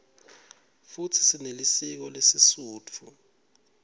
futsi sinelisiko lesisutfu